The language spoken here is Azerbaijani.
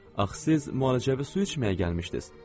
Axı siz müalicəvi su içməyə gəlmişdiz.